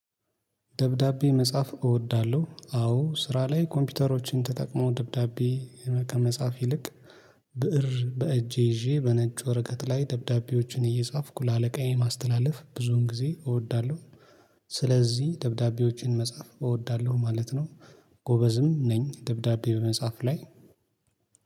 ደብዳቤ መጻፍ እወዳለሁ አዎ ስራ ላይ ኮምፒውተሮችን ተጠቅሞ ደብዳቤ ከመጻፍ ይልቅ ብእር በእጄ ይዤ በነጭ ወረቀት ላይ ደብዳቤዎችን እየጻፍኩ ለአለቃዬ ማስተላለፍ ብዙውን ጊዜ እወዳለሁ። ስለዚህ ደብዳቤዎችን መጻፍ እወዳለሁ ማለት ነው። ጎበዝም ነኝ ደብዳቤ በመጽሐፍ ላይ።